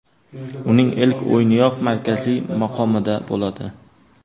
Uning ilk o‘yiniyoq markaziy maqomida bo‘ladi.